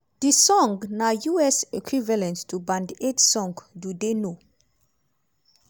di record na us equivalent to band aid song do they know